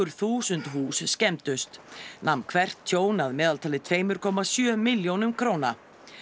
þúsund hús skemmdust nam hvert tjón að meðaltali tveimur komma sjö milljónum króna